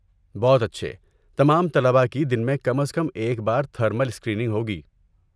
بہت اچھے! تمام طلبہ کی دن میں کم از کم ایک بار تھرمل اسکریننگ ہوگی۔